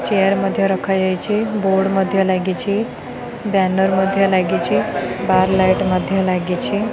Chair ମଧ୍ଯ ରଖାଯାଇଛି board ମଧ୍ଯ ଲାଗିଛି ବ୍ଯାନର ମଧ୍ଯ ଲାଗିଛି ବାର ଲାଇଟ୍ ମଧ୍ଯ ଲାଗିଛି।